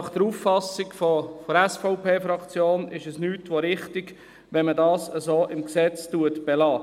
Nach Auffassung der SVP-Fraktion ist es nichts als richtig, wenn man das so im Gesetz belässt.